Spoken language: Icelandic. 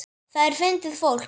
Það er fyndið fólk.